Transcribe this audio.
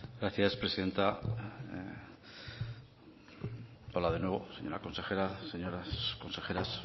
gracias presidenta hola de nuevo señora consejera señoras consejeras